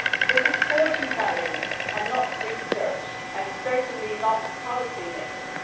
This is fortune telling and not research, and certainly not policy making.